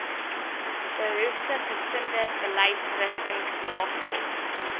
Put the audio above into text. behoeftiggesinde beleidsrigtings nagekom